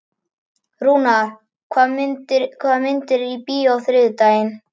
Rúnar, hvaða myndir eru í bíó á þriðjudaginn?